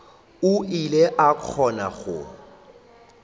o ile a kgona go